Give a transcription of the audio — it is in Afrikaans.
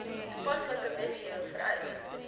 toepaslike wetgewing vereis